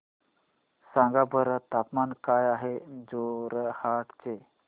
सांगा बरं तापमान काय आहे जोरहाट चे